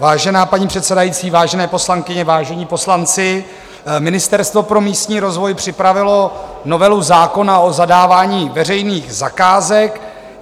Vážená paní předsedající, vážené poslankyně, vážení poslanci, Ministerstvo pro místní rozvoj připravilo novelu zákona o zadávání veřejných zakázek.